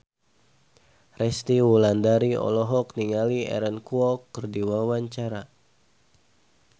Resty Wulandari olohok ningali Aaron Kwok keur diwawancara